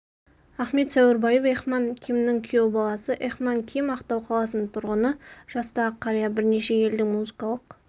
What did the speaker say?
ахмет сәуірбаев эхман кимнің күйеу баласы эхман ким ақтау қаласының тұрғыны жастағы қария бірнеше елдің музыкалық